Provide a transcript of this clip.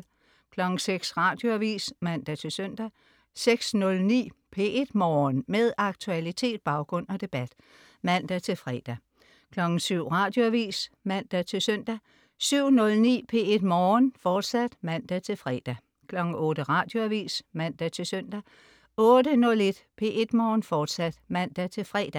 06.00 Radioavis (man-søn) 06.09 P1 Morgen. Med aktualitet, baggrund og debat (man-fre) 07.00 Radioavis (man-søn) 07.09 P1 Morgen, fortsat (man-fre) 08.00 Radioavis (man-søn) 08.09 P1 Morgen, fortsat (man-fre)